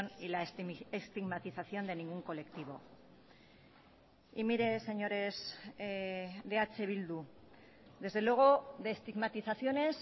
y la estigmatización de ningún colectivo y mire señores de eh bildu desde luego de estigmatizaciones